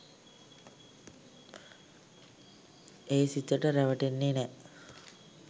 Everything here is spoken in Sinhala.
මේ සිතට රැවටෙන්නෙ නෑ.